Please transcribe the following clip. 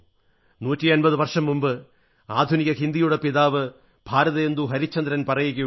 നൂറ്റമ്പതു വർഷം മുമ്പ് ആധുനിക ഹിന്ദിയുടെ പിതാവ് ഭാരതേന്ദു ഹരിശ്ചന്ദ്രൻ പറയുകയുണ്ടായി